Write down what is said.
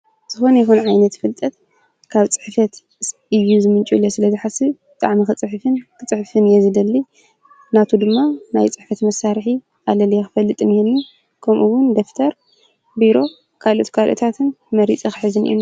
ዝኮነ ይኩን ዓይነት ፍልጠት ካብ ፅሕፈት እዩ ዝምንጩ ኢለ ስለዝሓስብ ብጣዕሚ ከፅሕፍን ክፅሕፍን እየ ዝደሊ፡፡ ናቱ ድማ ናይ ፅሕፈት መሳርሒ አለልየ ክፈልጥ ነይሩኒ ከምኡውን ደፍተር ፣ቢሮ ፣ካልኦት ከልኦታትን መሪፀ ክሕዝ እኒአኒ፡፡